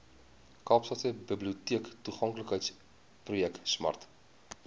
kaapstadse biblioteektoeganklikheidsprojek smart